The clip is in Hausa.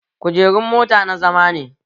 Kujerun mota na zama ne